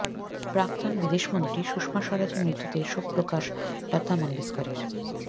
প্রাক্তন বিদেশমন্ত্রী সুষমা স্বরাজের মৃত্যুতে শোক প্রকাশ লতা মঙ্গেশকরের